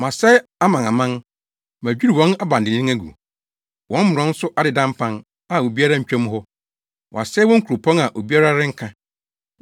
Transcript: “Masɛe amanaman; madwiriw wɔn abandennen agu. Wɔn mmorɔn so adeda mpan, a obiara ntwa mu hɔ. Wɔasɛe wɔn nkuropɔn; a obiara renka.